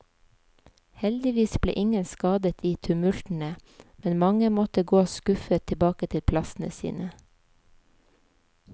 Heldigvis ble ingen skadet i tumultene, men mange måtte gå skuffet tilbake til plassene sine.